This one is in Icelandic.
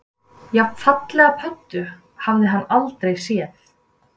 Jafnfallega pöddu hafði hann aldrei séð